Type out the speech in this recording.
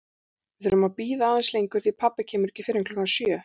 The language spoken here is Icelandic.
Við þurfum að bíða aðeins lengur því pabbi kemur ekki fyrr en klukkan sjö